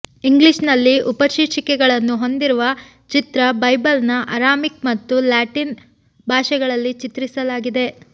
ಇಂಗ್ಲಿಷ್ನಲ್ಲಿ ಉಪಶೀರ್ಷಿಕೆಗಳನ್ನು ಹೊಂದಿರುವ ಚಿತ್ರ ಬೈಬಲ್ನ ಅರಾಮಿಕ್ ಮತ್ತು ಲ್ಯಾಟಿನ್ ಭಾಷೆಗಳಲ್ಲಿ ಚಿತ್ರಿಸಲಾಗಿದೆ